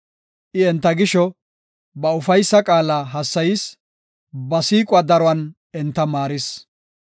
I enta gisho, ba ufaysa qaala hassayis; ba siiquwa daruwan enta maaris.